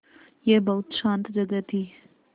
यह बहुत शान्त जगह थी